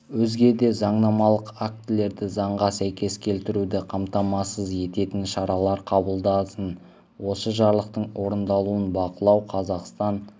өзге де заңнамалық актілерді заңға сәйкес келтіруді қамтамасыз ететін шаралар қабылдасын осы жарлықтың орындалуын бақылау қазақстан